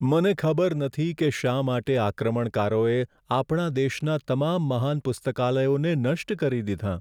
મને ખબર નથી કે શા માટે આક્રમણકારોએ આપણા દેશના તમામ મહાન પુસ્તકાલયોને નષ્ટ કરી દીધાં.